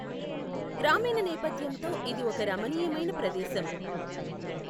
గ్రామీణ నేపథ్యంతో ఇది ఒక రమణీయమైన ప్రదేశం.